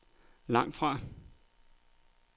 langtfra